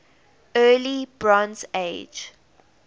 early bronze age